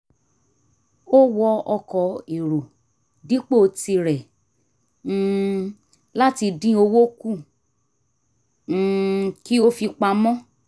ó wọ ọkọ̀ èrò dipo tirẹ̀ um láti dín owó kù um kí ó fi pamọ́